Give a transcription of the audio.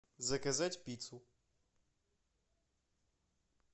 заказать пиццу